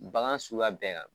Bagan suguya bɛɛ kan